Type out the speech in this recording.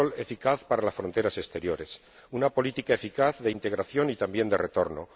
un control eficaz para las fronteras exteriores una política eficaz de integración y, también, de retorno